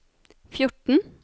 fjorten